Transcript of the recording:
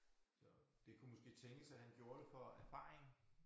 Så det kunne måske tænkes at han gjorde det for erfaringen